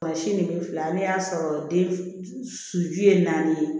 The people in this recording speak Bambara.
si ni bi fila an y'a sɔrɔ den su ye naani ye